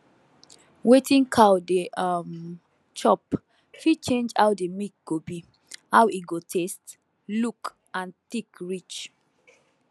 wetin cow dey um chop fit change how the milk go be how e go taste look and thick reach